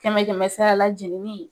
Kɛmɛ kɛmɛ a la jiginni